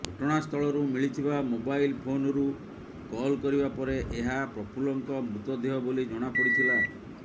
ଘଟଣାସ୍ଥଳରୁ ମିଳିଥିବା ମୋବାଇଲ୍ ଫୋନ୍ରୁ କଲ୍ କରିବା ପରେ ଏହା ପ୍ରଫୁଲ୍ଲଙ୍କ ମୃତଦେହ ବୋଲି ଜଣାପଡ଼ିଥିଲା